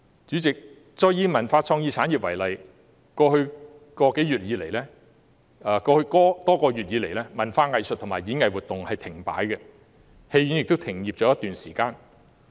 主席，我再以文化創意產業為例，在過去多個月以來，文化藝術及演藝活動停擺，戲院亦已停業一段時間。